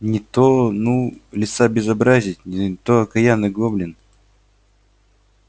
не то ну лиса безобразит не то окаянный гоблин